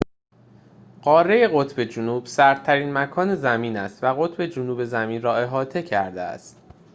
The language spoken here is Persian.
قاره قطب جنوب سردترین مکان زمین است و قطب جنوب زمین را احاطه کرده است